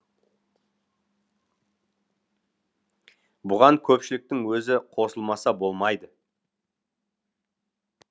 бұған көпшіліктің өзі қосылмаса болмайды